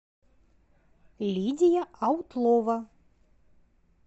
лидия аутлова